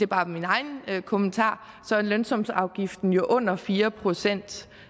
bare min egen kommentar så er lønsumsafgiften under fire procent